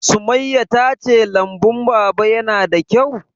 Sumayya ta ce lambun Baba ya na da kyau?